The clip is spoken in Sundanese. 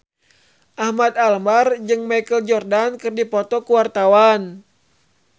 Ahmad Albar jeung Michael Jordan keur dipoto ku wartawan